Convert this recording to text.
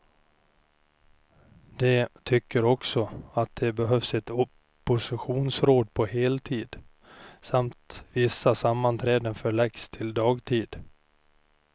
De tycker också att det behövs ett oppositionsråd på heltid, samt att vissa sammanträden förläggs till dagtid.